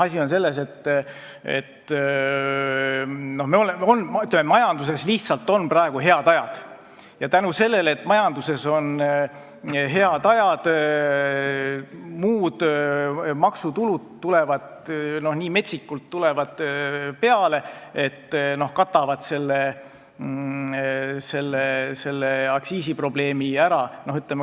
Asi on selles, et majanduses lihtsalt on praegu head ajad ja tänu sellele, et majanduses on head ajad, tulevad muud maksutulud nii metsikult peale, et katavad selle aktsiisiprobleemi ära.